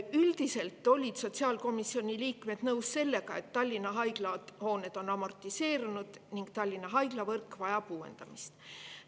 Üldiselt olid sotsiaalkomisjoni liikmed nõus sellega, et Tallinna haiglate hooned on amortiseerunud ning Tallinna haiglavõrk vajab uuendamist.